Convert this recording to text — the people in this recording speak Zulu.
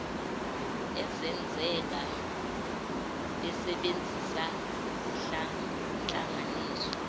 ezenzeka besebenzisa izihlanganiso